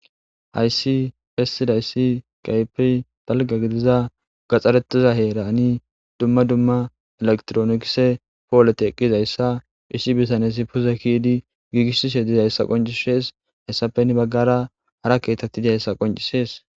Hayssi bessidayisi kehipe dalga gidiza gaxxaretiza heerani duma duma elektroonikise pooleti eqqizayssa issi bitanezi puze kidi giigisishe dizayssa qoncishees hayssappenni bagara hara kethati diyayssa qonc'ises.